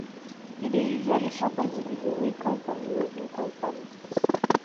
e dey usually happun to pipo wey come from lowincome families